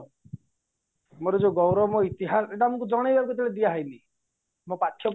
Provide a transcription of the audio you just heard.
ଆମର ଯୋଉ ଗୌରବ ଇତିହାସ ଏଇଟା ଆମକୁ ଜଣେଇ ଦିଆ ହେଇନି ଆମ ପାଠ୍ୟ